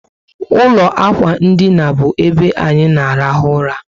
Ụlọ ákwà ndina bu ebe anyị na arahu ụra